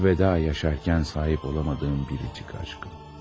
Əlvida yaşarkən sahib ola bilmədiyim biricik aşkım.